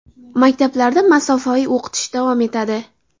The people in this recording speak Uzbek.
Maktablarda masofaviy o‘qitish davom etadi.